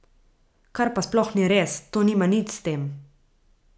Kar pa sploh ni res, to nima nič s tem.